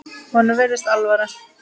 Honum virðist alvara.